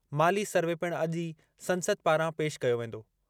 माली सर्वे पिणु अॼु ई संसद पारां पेश कयो वेंदो।